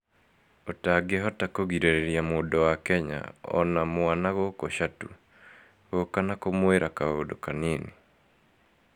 ũtangĩhota kũgirĩrĩria mũndũ wa Kenya, ona mwana gũkũ Chatu, gũũka na kũmwĩra kaũndũ kanini…